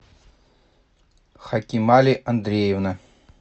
хакимали андреевна